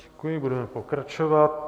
Děkuji, budeme pokračovat.